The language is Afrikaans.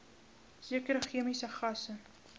sekere chemiese gasse